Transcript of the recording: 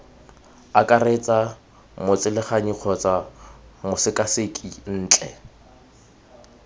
akaretsa motseleganyi kgotsa mosekaseki ntle